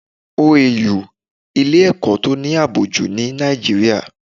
OAU ilè ẹ̀kọ́ to ní àbò jù ní Nigeria